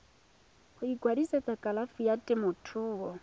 go ikwadisetsa kalafi ya temothuo